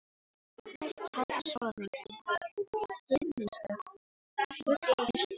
Næsta hálfa sólarhringinn, hið minnsta, fullyrti hann.